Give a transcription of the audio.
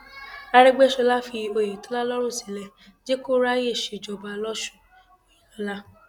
arẹgbẹsọla fi oyetola lọrùn sílẹ jẹ kó ráàyè ṣèjọba lọsùn òyìnlọla